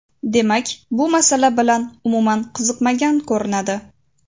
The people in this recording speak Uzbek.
Demak, bu masala bilan umuman qiziqmagan ko‘rinadi.